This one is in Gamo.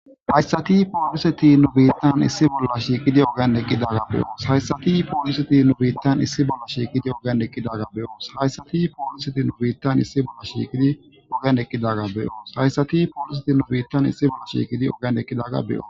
Hayssati pooliseti nu biittan issi bolla shiiqidi oganeqqi dagga beyoos hayssati pooliseti nu biittan issi bolla shiikidi oganeqqi daga beyoos hayssati pooliseti nu biittan issi bolla shiiqidi oganeqqi daga beyoos hayssati pooliseti nu biittan issi bolla shiiqidi oganeqqi dagga be'yo.